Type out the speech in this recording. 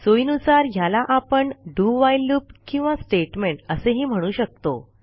सोयीनुसार ह्याला आपण do व्हाईल लूप किंवा स्टेटमेंट असेही म्हणू शकतो